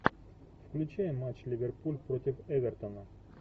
включай матч ливерпуль против эвертона